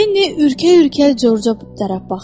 Linni ürkə-ürkə Corca tərəf baxdı.